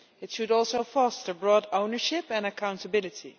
It should also foster broad ownership and accountability.